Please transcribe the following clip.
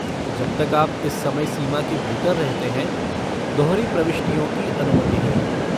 जब तक आप इस समय सीमा के भीतर रहते हैं, दोहरी प्रविष्टियों की अनुमति है।